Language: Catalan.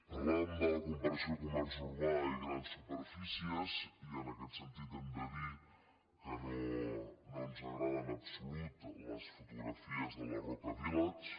parlàvem de la comparació comerç urbà i grans superfícies i en aquest sentit hem de dir que no ens agraden en absolut les fotografies de la roca village